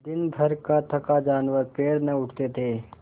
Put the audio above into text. दिनभर का थका जानवर पैर न उठते थे